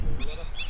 yox, bilmirəm.